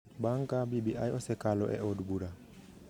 Bang’ ka BBI osekalo e od bura,